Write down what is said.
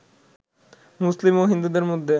মুসলিম ও হিন্দুদের মধ্যে